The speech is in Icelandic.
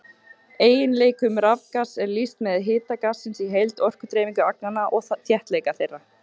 Eiginleikum rafgass er lýst með hita gassins í heild, orkudreifingu agnanna og þéttleika þeirra.